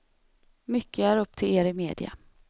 Mycket är upp till er i media.